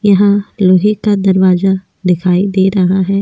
यहां लोहे का दरवाजा दिखाई दे रहा है ।